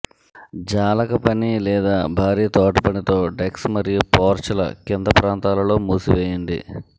జాలక పని లేదా భారీ తోటపని తో డెక్స్ మరియు పోర్చ్ల కింద ప్రాంతాలలో మూసివేయండి